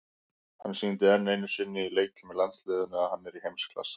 Hann sýndi enn einu sinni í leikjum með landsliðinu að hann er í heimsklassa.